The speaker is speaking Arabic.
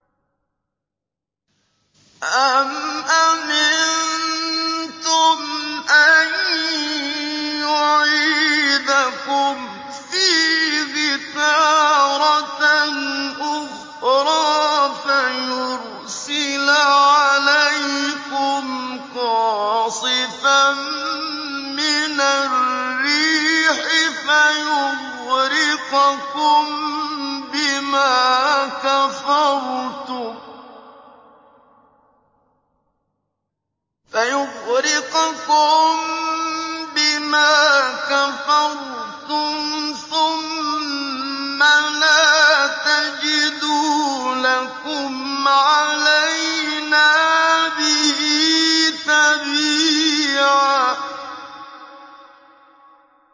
أَمْ أَمِنتُمْ أَن يُعِيدَكُمْ فِيهِ تَارَةً أُخْرَىٰ فَيُرْسِلَ عَلَيْكُمْ قَاصِفًا مِّنَ الرِّيحِ فَيُغْرِقَكُم بِمَا كَفَرْتُمْ ۙ ثُمَّ لَا تَجِدُوا لَكُمْ عَلَيْنَا بِهِ تَبِيعًا